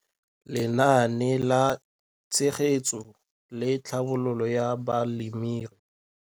Lenaane la Tshegetso le Tlhabololo ya Balemirui.